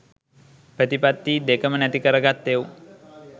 ප්‍රතිපත්තියි දෙකම නැති කරගත් එවුන්